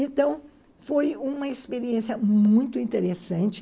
Então, foi uma experiência muito interessante.